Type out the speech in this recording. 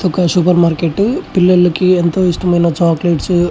ఇది ఒక super market పిల్లలకి ఎంతో ఇష్టమైన చాక్లెట్ --